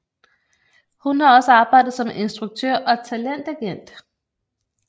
Hun har også arbejdet som instruktør og talentagent